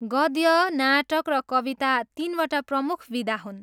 गद्य, नाटक र कविता तिनवटा प्रमुख विधा हुन्।